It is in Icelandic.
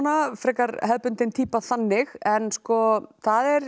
frekar hefðbundin týpa þannig en sko það er